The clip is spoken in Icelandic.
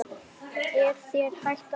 Er þér hætt að blæða?